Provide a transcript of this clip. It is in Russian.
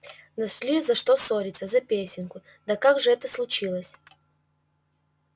нашли за что ссориться за песенку да как же это случилось